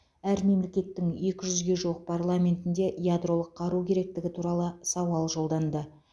әр мемлекеттің екі жүзге жуық парламентінде ядролық қару керектігі туралы сауал жолданды